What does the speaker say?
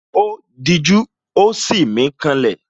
Ó dijú, ó sì mí ká lẹ̀